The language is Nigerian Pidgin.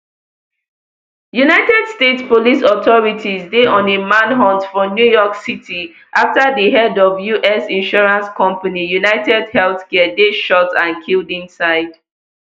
united states police authorities dey on a manhunt for new york city after di head of us insurance company unitedhealthcare dey shot and killed inside